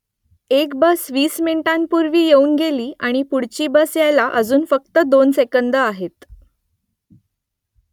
एक बस वीस मिनिटांपूर्वी येऊन गेली आणि पुढची बस यायला अजून फक्त दोन सेकंदं आहेत